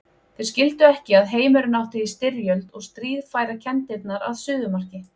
Þeir skildu ekki að heimurinn átti í styrjöld og stríð færa kenndirnar að suðumarki.